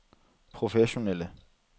professionelle